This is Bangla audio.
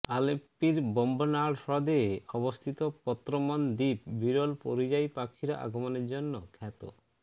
আলেপ্পির বেম্বনাড় হ্রদে অবস্থিত পত্রামন দ্বীপ বিরল পরিযায়ী পাখির আগমনের জন্য খ্যাত